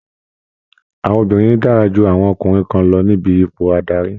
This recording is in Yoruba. Àwọn obìnrin dára ju àwọn ọkùnrin kan lọ níbi ipò adarí